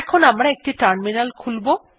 এখন আমারা একটি টার্মিনাল খুলব